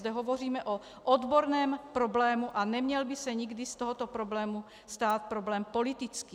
Zde hovoříme o odborném problému a neměl by se nikdy z tohoto problému stát problém politický.